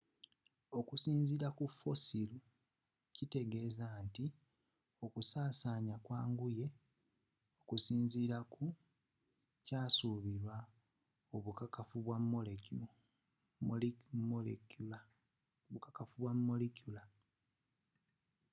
okusinziila kufossil kitegeeza nti okusaasana kwanguye okusinziira kukyasuubirwa obukakafu bwa molecular